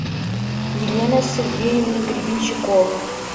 елена сергеевна гребенщикова